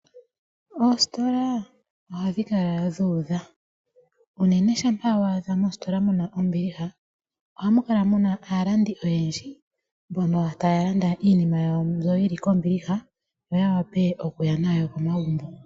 Oositola ohadhi kala dhu udha unene shampa wa adha mositola muna ombiliha ohamu kala muna aalandi oyendji mbono taya landa iinima yawo mbyoka yili kombiliha yo ya wape okuya nayo komagumbo.